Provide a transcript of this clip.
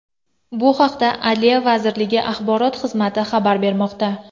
Bu haqda Adliya vazirligi Axborot xizmati xabar bermoqda .